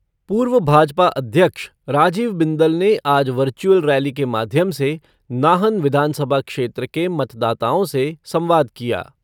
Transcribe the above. पूर्व भाजपा अध्यक्ष राजीव बिंदल ने आज वर्चुअल रैली के माध्यम से नाहन विधानसभा क्षेत्र के मतदाताओं से संवाद किया।